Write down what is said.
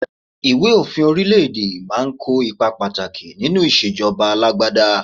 Ìwé òfin orílẹ̀-èdè máa ń kó ipa pàtàkì nínú ìṣèjọba alágbádá.